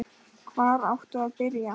Hvar áttu að byrja?